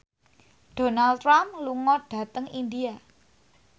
Donald Trump lunga dhateng India